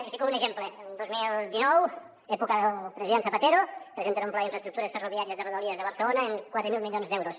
i en fico un exemple dos mil dinou època del president zapatero presenten un pla d’infraestructures ferroviàries de rodalies de barcelona amb quatre mil milions d’euros